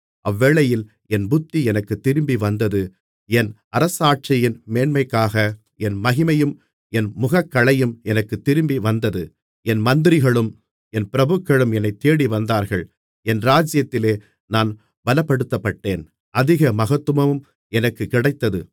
அவ்வேளையில் என் புத்தி எனக்குத் திரும்பிவந்தது என் அரசாட்சியின் மேன்மைக்காக என் மகிமையும் என் முகக்களையும் எனக்குத் திரும்பி வந்தது என் மந்திரிகளும் என் பிரபுக்களும் என்னைத் தேடிவந்தார்கள் என் ராஜ்ஜியத்திலே நான் பலப்படுத்தப்பட்டேன் அதிக மகத்துவமும் எனக்குக் கிடைத்தது